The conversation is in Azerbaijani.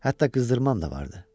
Hətta qızdırmam da vardı.